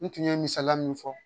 N tun ye misaliya min fɔ